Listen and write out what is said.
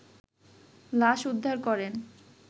লাশ উদ্ধার করেন